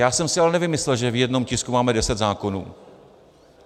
Já jsem si ale nevymyslel, že v jednom tisku máme deset zákonů.